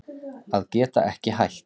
Að geta ekki hætt